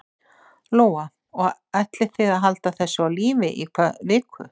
Lóa: Og ætlið þið að halda þessu á lífi í hvað viku?